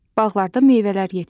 Bağlarda meyvələr yetişir.